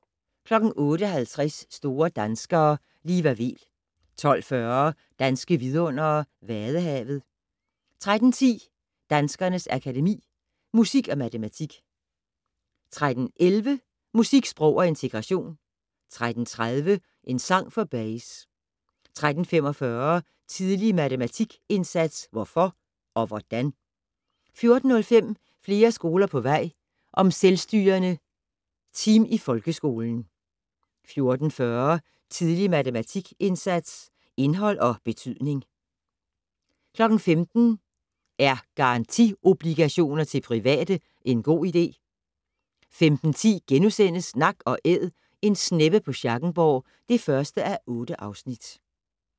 08:50: Store danskere - Liva Weel 12:40: Danske vidundere: Vadehavet 13:10: Danskernes Akademi: Musik & Matematik 13:11: Musik, sprog og integration 13:30: En sang for Bayes 13:45: Tidlig matematikindsats - hvorfor og hvordan? 14:05: Flere skoler på vej - om selvstyrende team i folkeskolen 14:40: Tidlig matematikindsats - indhold og betydning 15:00: Er garantiobligationer til private en god idé? 15:10: Nak & Æd - en sneppe på Schackenborg (1:8)*